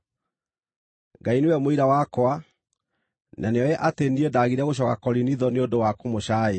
Ngai nĩwe mũira wakwa, na nĩoĩ atĩ niĩ ndaagire gũcooka Korinitho nĩ ũndũ wa kũmũcaaĩra.